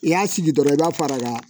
I y'a sigi dɔrɔn i b'a fara ka